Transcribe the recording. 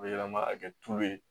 A bɛ yɛlɛma ka kɛ tulu ye